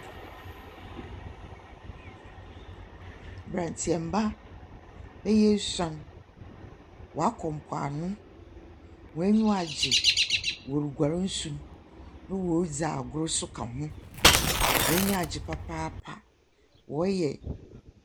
Mbrantseɛmba bɛyɛ esoun wakɔ mpo ano wonyiwa agye wɔ re guare nsu nna wɔredzi agor nso ka ho wenyiwa agyee papaapa.